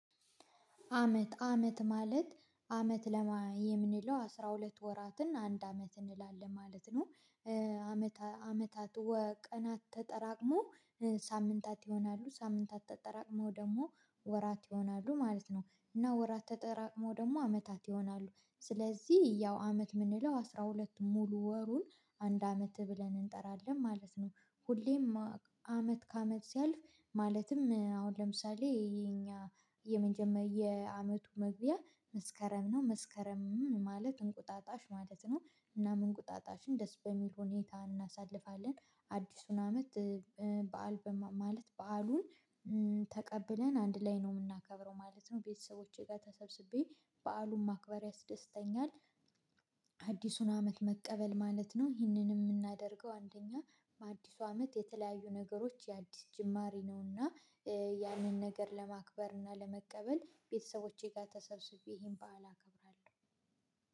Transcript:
አመት አመት ማለት አመት ምንለው አስራ ሁለት ወራትን አንድ አመት እንላለን ማለት ነው። አመት አመታት ወቀናት ተጠራቅሞ ሳምንታት ይሆናሉ ሳምንታት ተጠራቅመው ደግሞ ወራት ይሆናሉ ማለት ነው። እና ወራት ተጠራቅመው ደግሞ አመታት ይሆናሉ። ስለዚህ ያው አመት የምንለው አስራ ሁለት ሙሉ ወሩን አንድ አመት ብለን እንጠራለን ማለት ነው። ሁሌም አመት ከአመት ሲያልፍ ማለትም አሁን ለምሳሌ የእኛ የመጀመሪያ የአመቱ መግቢያ መስከረም ነው መስከረም ማለት እንቁጣጣሽ ማለት ነው። እና እንቁጣጣሽን ደስ በሚል ሁኔታ እናሳልፋለን። አዲሱን አመት። በዓል ማለት በዓሉን ተቀብለን አንድ ላይ ነው የምናከብረው ማለት ነው። ቤተሰቦቼ ጋር ተሰብስቤ በዓሉን ማክበር ያስደስተኛል። አዲሱን አመት መቀበል ማለት ነው። ይህንን የምናደርገው አንደኛ በአዲሱ አመት የተለያዩ ነገሮች የአዲስ ጅማሬ ነውና። ያንንነገር ለመቀበልና ለማክበር ቤተሰቦቸ ጋር ተሰብስቤ ይሄን በዓል አከብራለሁ።